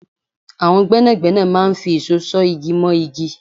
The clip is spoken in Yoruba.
àwọn gbẹ́nàgbẹ́nà máa ń fi ìṣó ṣọ̀ igí mọ́ igí